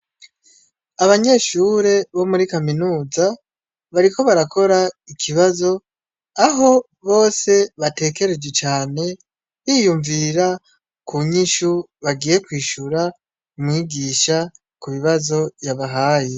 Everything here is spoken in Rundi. Abanyeshure bo muri kaminuza bariko barakora ikibazo, aho bose batekereje cane, biyumvira ku nyishu bagiye kwishura mwigisha ku bibazo yabahaye.